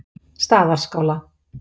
Staðarskála